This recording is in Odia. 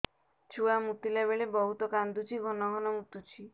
ଛୁଆ ମୁତିଲା ବେଳେ ବହୁତ କାନ୍ଦୁଛି ଘନ ଘନ ମୁତୁଛି